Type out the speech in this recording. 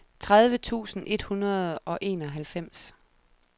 tredive tusind et hundrede og enoghalvfems